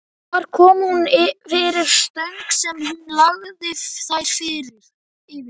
Þar kom hún fyrir stöng sem hún lagði þær yfir.